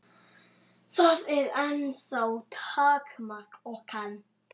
Það er ennþá takmark okkar.